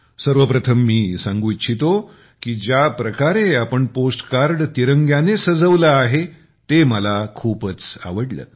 सर्वप्रथम मी सांगू इच्छितो की ज्या प्रकारे आपण पोस्ट कार्ड तिरंग्यानेसजवले आहे ते मला खूपच आवडले